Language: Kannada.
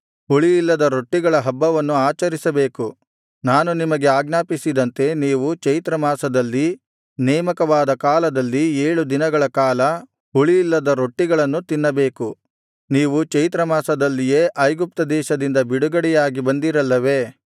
ಹುಳಿಯಿಲ್ಲದ ರೊಟ್ಟಿಗಳ ಹಬ್ಬವನ್ನು ಆಚರಿಸಬೇಕು ನಾನು ನಿಮಗೆ ಆಜ್ಞಾಪಿಸಿದಂತೆ ನೀವು ಚೈತ್ರಮಾಸದಲ್ಲಿ ನೇಮಕವಾದ ಕಾಲದಲ್ಲಿ ಏಳು ದಿನಗಳ ಕಾಲ ಹುಳಿಯಿಲ್ಲದ ರೊಟ್ಟಿಗಳನ್ನು ತಿನ್ನಬೇಕು ನೀವು ಚೈತ್ರಮಾಸದಲ್ಲಿಯೇ ಐಗುಪ್ತದೇಶದಿಂದ ಬಿಡುಗಡೆಯಾಗಿ ಬಂದಿರಲ್ಲವೇ